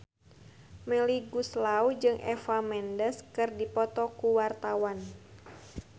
Melly Goeslaw jeung Eva Mendes keur dipoto ku wartawan